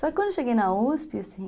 Só que quando eu cheguei na uspi, assim...